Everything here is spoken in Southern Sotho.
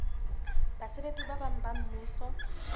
basebetsi ba bang ba mmuso